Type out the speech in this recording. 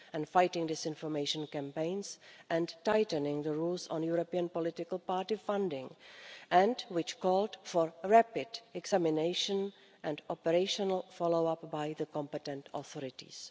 fighting disinformation campaigns and tightening the rules on European political party funding. It also called for a rapid examination and operational follow up by the competent authorities.